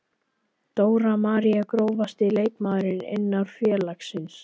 Dóra María Grófasti leikmaður innan félagsins?